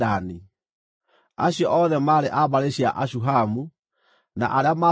Acio othe maarĩ a mbarĩ cia Ashuhamu: na arĩa maatarirwo maarĩ andũ 64,400.